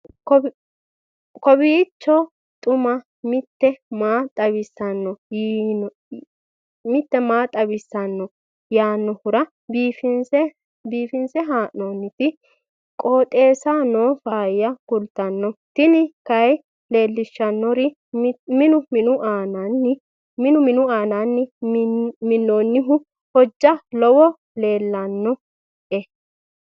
kowiicho xuma mtini maa xawissanno yaannohura biifinse haa'noonniti qooxeessano faayya kultanno tini kayi leellishshannori minu minu aananni minnoonihu hojja lowou leellanni nooe